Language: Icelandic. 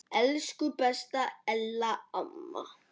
Elsku besta Ella amma.